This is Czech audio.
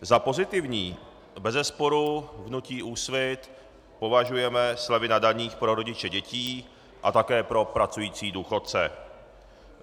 Za pozitivní bezesporu v hnutí Úsvit považujeme slevy na daních pro rodiče dětí a také pro pracující důchodce.